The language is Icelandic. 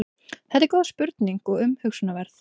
þetta er góð spurning og umhugsunarverð